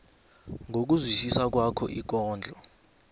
ngokuzwisisa kwakho ikondlo